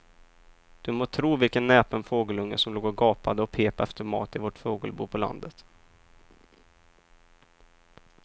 Du må tro vilken näpen fågelunge som låg och gapade och pep efter mat i vårt fågelbo på landet.